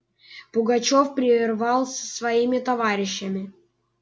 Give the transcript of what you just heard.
пугачёв пировал со своими товарищами